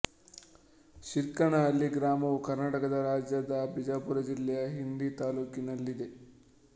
ಶಿರ್ಕನಹಳ್ಳಿ ಗ್ರಾಮವು ಕರ್ನಾಟಕ ರಾಜ್ಯದ ಬಿಜಾಪುರ ಜಿಲ್ಲೆಯ ಇಂಡಿ ತಾಲ್ಲೂಕಿನಲ್ಲಿದೆ